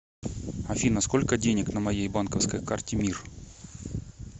афина сколько денег на моей банковской карте мир